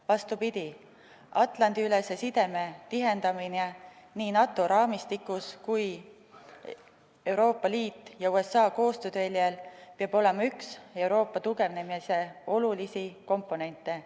Vastupidi, Atlandi-ülese sideme tihendamine nii NATO raamistikus kui ka Euroopa Liidu ja Ameerika Ühendriikide koostööteljel peab olema üks Euroopa tugevnemise olulisi komponente.